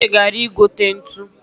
Uche gara igote ntu